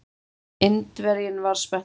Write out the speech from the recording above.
Indverjinn var spenntur.